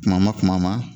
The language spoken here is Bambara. Kuma ma kuma ma